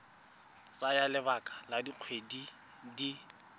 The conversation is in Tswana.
tsaya lebaka la dikgwedi di